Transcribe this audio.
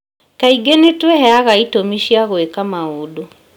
Kaingĩ nĩ twĩheaga itũmi cia gwĩka maũndũ